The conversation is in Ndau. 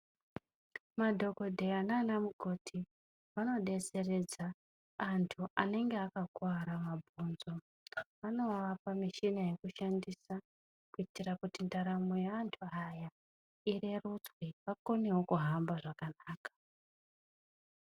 Madhokodheya naana mukoti, vanodetseredza antu anenge akakuwara mabhonzo. Vanovapa muchina yekushandisa kuitira kuti ndaramo yeantu aya irerutswe vakonewo kuhamba zvakanaka.